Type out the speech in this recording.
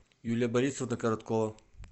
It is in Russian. юлия борисовна короткова